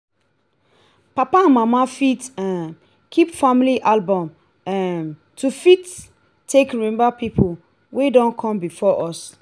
papa and mama fit um keep family album um to fit take remember people wey don come before us